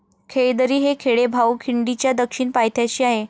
खेळदरी हे खेडे भाऊ खिंडीच्या दक्षिण पायथ्याशी आहे.